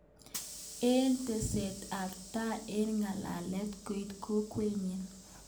Eng teset ab tai eng ngalalet koit kokwet nenyi.